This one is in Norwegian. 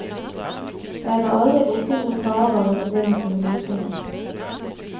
Jeg var aldri borti noen farer i forbindelse med losingen.